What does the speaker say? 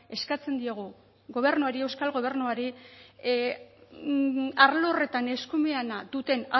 eskatzen diogu gobernuari euskal gobernuari arlo horretan eskumena duten